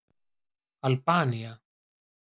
Albanía